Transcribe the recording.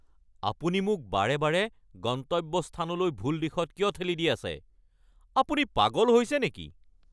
আপুনি মোক বাৰে বাৰে গন্তব্যস্থানলৈ ভুল দিশত কিয় ঠেলি দি আছে। আপুনি পাগল হৈছে নেকি?